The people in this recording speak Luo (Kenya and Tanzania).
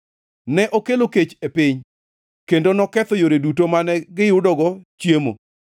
Ne okelo kech e piny kendo noketho yore duto mane giyudogo chiemo;